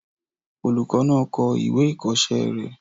Olùkọ́ náà kọ ìwé ìkọ̀ọ́sẹ́ rẹ̀